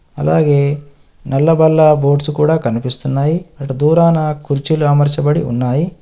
అలాగే నల్ల బల్ల బోర్డ్స్ కూడా కనిపిస్తున్నాయి. అటు దూరాన కుర్చీలు అమర్చబడి ఉన్నాయి.